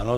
Ano.